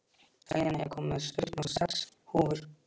Selina, ég kom með sjötíu og sex húfur!